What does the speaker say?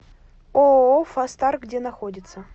ооо фастар где находится